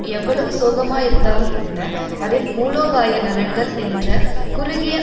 எவ்வளவு சோகமாயிருந்தாலும்கூட அதன் மூலோபாய நலன்கள் என்ற குறுகிய